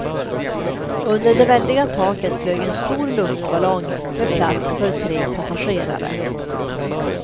Under det väldiga taket flög en stor luftballong med plats för tre passagerare.